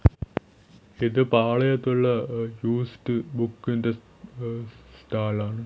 ഇത് പാളയത്തുള്ള യൂസ്ഡ് ബുക്കിന്റെ ങ് സ്റ്റാ സ്റ്റാളാണ് .